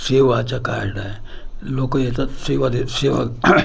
सेवाचं card आहे लोकं येतात सेवा दे सेवा